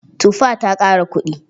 Tufa ta ƙara kuɗi.